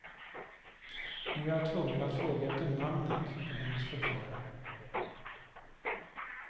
Nu är jag tvungen att fråga efter namnet på hennes förförare.